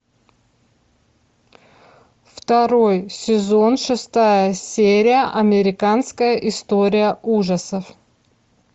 второй сезон шестая серия американская история ужасов